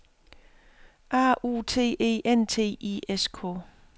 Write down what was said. A U T E N T I S K